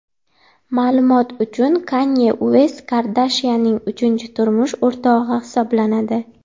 Ma’lumot uchun, Kanye Uest Kardashyanning uchinchi turmush o‘rtog‘i hisoblanadi.